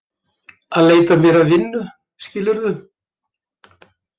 Að leita mér að vinnu, skilurðu.